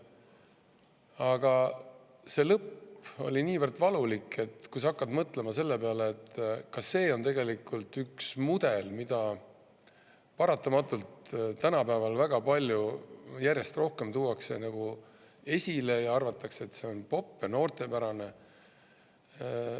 Aga see lõpp oli niivõrd valulik, et kui sa hakkad mõtlema selle peale, et ka see on tegelikult üks mudel, mida paratamatult tänapäeval väga palju järjest rohkem tuuakse nagu esile ja arvatakse, et see on popp ja noortepärane.